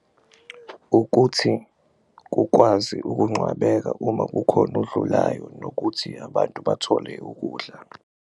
Ukuthi kukwazi ukuncwabeka uma kukhona odlulayo nokuthi abantu bathole ukudla.